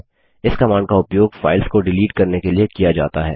इस कमांड का उपयोग फाइल्स को डिलीट करने के लिए किया जाता है